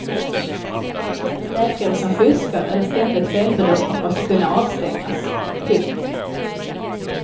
Läkare som fuskar eller ständigt felbedömer måste kunna avstängas. punkt